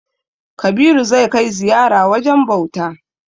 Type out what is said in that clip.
Kabiru zai kai ziyara wajen bauta.